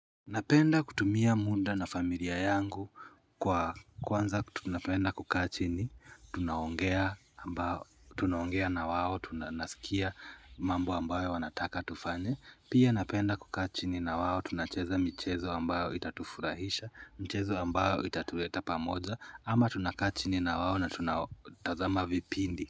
Napenda kutumia muda na familia yangu kwanza tunapenda kukaa chini, tunaongea na wao, tu nasikia mambo ambayo wanataka tufanye, pia napenda kukaa chini na wao, tunacheza michezo ambayo itatufurahisha, mchezo ambayo itatuleta pamoja, ama tunakaa chini na wao na tunatazama vipindi.